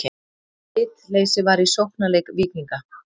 Bitleysi var í sóknarleik Víkinga.